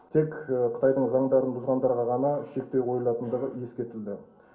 тек қытайдың заңдарын бұзғандарға ғана шектеу қойылатындығы ескертілді